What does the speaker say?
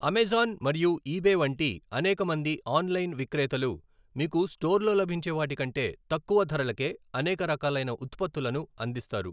Amazon మరియు eBay వంటి అనేకమంది ఆన్లైన్ విక్రేతలు, మీకు స్టోర్లో లభించేవాటి కంటే తక్కువ ధరలకే అనేక రకాలైన ఉత్పత్తులను అందిస్తారు.